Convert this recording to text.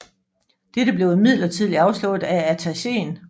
Dette blev imidlertid afslået af attachéen